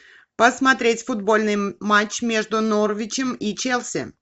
посмотреть футбольный матч между норвичем и челси